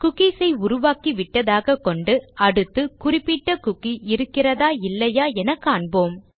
cookies ஐ உருவாக்கி விட்டதாகக் கொண்டு அடுத்து குறிப்பிட்ட குக்கி இருக்கிறதா இல்லையா என காண்போம்